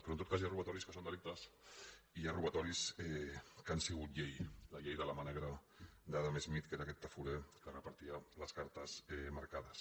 però en tot cas hi ha robatoris que són delictes i hi ha robatoris que han sigut llei la llei de la mà negra d’adam smith que era aquest tafurer que repartia les cartes marca·des